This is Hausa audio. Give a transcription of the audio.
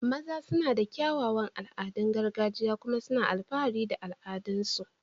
maza suna da kyawawan al'adun gargajiya kuma suna alfahari da al'adunsu